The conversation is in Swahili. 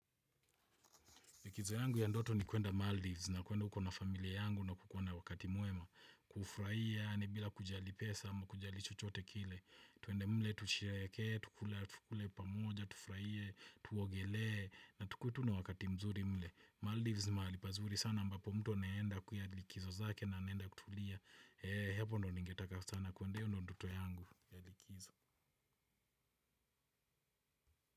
Likizo yangu ya ndoto ni kuenda Maldives na kuenda huko na familia yangu na kukuwa na wakati mwema. Kufuraia yani bila kujali pesa ama kujali chochote kile. Tuende mle, tushereheke, tukule pamoja, tufurahie, tuogelee, na tukuwe tu na wakati mzuri mle. Maldives ni mahali pazuri sana ambapo mtu anaenda kuya likizo zake na anaenda kutulia. He hapo ndo ningetaka sana kuende hiyo ndoto yangu ya likizo.